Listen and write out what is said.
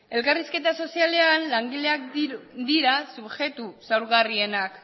elkarrizketa sozialean langileak dira subjektu zaurgarrienak